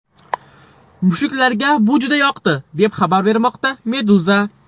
Mushuklarga bu juda yoqadi, deb xabar bermoqda Meduza.